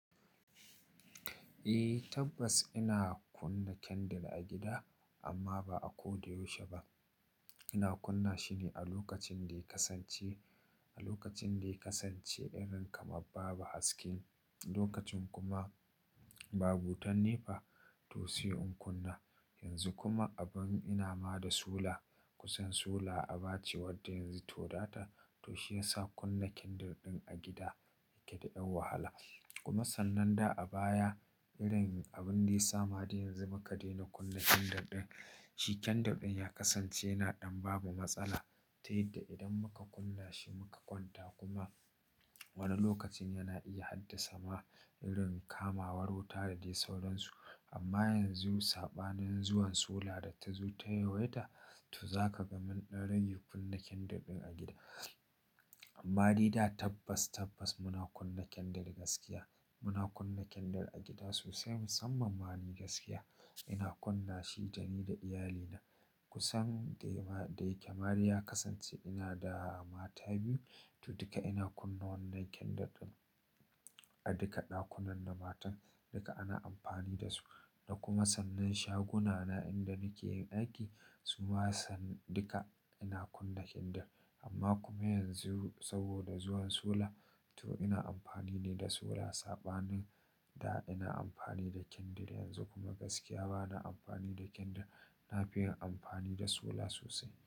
Eh tabbas ina kunna candle a gida amma ba a ko da yaushe ba. Ina kunna shi ne a lokacin da ya kasance, a lokacin da ya kasance irin kamar babu haske. Lokacin kuma babu wutanefa to sai in kunna. Yanzu kuma abin ina ma da sola kusan sola a bace wadda yanzu ta wadata to shiyasa kunna candle ɗin a gida yake da ɗan wahala. Kuma sannan da a baya irin abin da ya sama dai yanzu muka daina kunna candle ɗin. Shi kendir ɗin ya kasance yana ɗan bamu matsala ta yadda idan muka kunna shi muka kwanta kuma wani lokacin yana iya haddasa ma irin kamawar wuta da dai sauran su. Amma yanzu saɓanin zuwan sola da ta zo ta yawaita to zaka ga mun ɗan raige kunna kendir ɗin a gida. Amma dai da tabbas tabbas muna kunna kendir gaskiya. Muna kunna kindle a gida sosai musamman ma ni gaskiya ina kunna shi dani da iyalina. Kusan de dayake made ya kasance ina da mata biyu to duka ina kunna wannan kendir ɗin a duka ɗakunan na matan duka ana amfani da su. Da kuma sabbin shaguna na inda nake yin aiki suma sanan duka ina kunna kendir. Amma kuma yanzu saboda zuwan sola to ina amfani ne da sola. Saɓanin da ina amfani da kendir yanzu kuma gaskiya bana amfani da kendir ɗin. Na fi yin amfani da sola sosai.